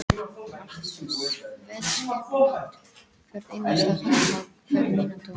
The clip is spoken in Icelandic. Allt var svo vel skipulagt, hvert einasta handtak, hver mínúta.